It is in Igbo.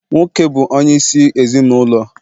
Nwoke bụ onye isi ezinụlọ